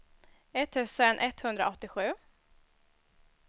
etttusen etthundraåttiosju